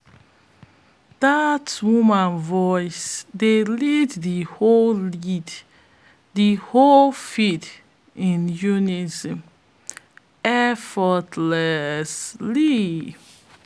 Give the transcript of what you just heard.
dat woman voice dey lead de whole lead de whole field in unison effortlessly